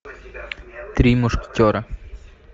три мушкетера